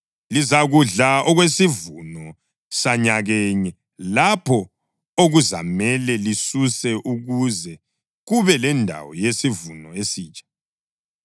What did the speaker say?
Lizakudla okwesivuno sanyakenye lapho okuzamele lisisuse ukuze kube lendawo yesivuno esitsha.